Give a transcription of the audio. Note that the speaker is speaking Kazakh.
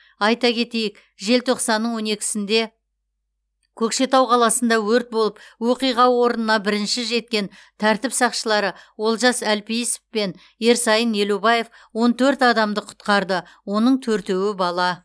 айта кетейік желтоқсанның он екісінде көкшетау қаласында өрт болып оқиға орнына бірінші жеткен тәртіп сақшылары олжас әлпейісов пен ерсайын елубаев он төрт адамды құтқарды оның төртеуі бала